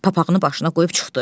Papağını başına qoyub çıxdı.